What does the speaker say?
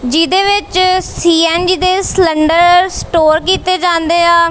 ਜਿਹਦੇ ਵਿੱਚ ਸੀ_ਐਨ_ਜੀ ਦੇ ਸਲੰਡਰ ਸਟੋਰ ਕੀਤੇ ਜਾਂਦੇ ਆ।